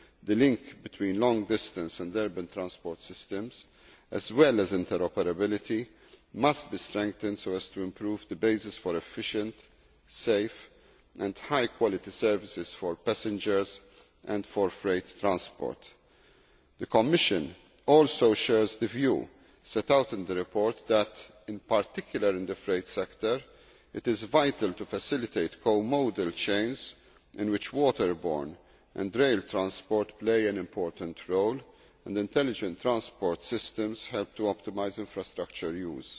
the link between long distance and urban transport systems as well as interoperability must be strengthened so as to improve the basis for efficient, safe and high quality services for passengers and for freight transport. The Commission also shares the view set out in the report that in particular in the freight sector it is vital to facilitate co modal chains in which waterborne and rail transport play an important role and intelligent transport systems help to optimise infrastructure use.